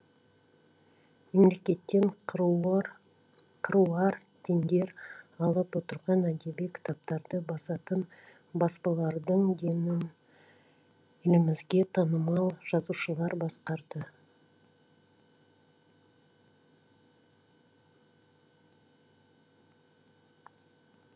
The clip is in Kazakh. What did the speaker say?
мемлекеттен қыруар тендер алып отырған әдеби кітаптарды басатын баспалардың денін елімізге танымал жазушылар басқарады